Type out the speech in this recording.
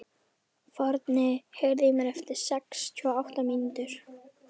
Forni, heyrðu í mér eftir sextíu og átta mínútur.